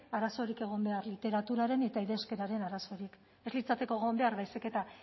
arazorik egon behar literaturaren eta idazkeraren arazorik ez litzateke egon behar baizik eta